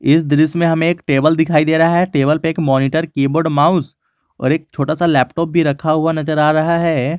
इस दृश्य में हमें एक टेबल दिखाई दे रहा है टेबल पे एक मॉनिटर की बोर्ड माउस और एक छोटा सा लैपटॉप भी रखा हुआ नजर आ रहा है।